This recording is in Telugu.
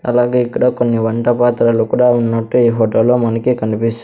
అలాగే ఇక్కడ కొన్ని వంట పాత్రలు కూడా ఉన్నట్టు ఈ హోటల్లో మనకి కనిపిస్స్ --